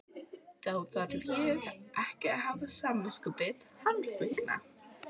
Þá þarf ég ekki að hafa samviskubit hans vegna?